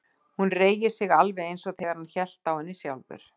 Hún reigir sig alveg eins og þegar hann hélt á henni sjálfur.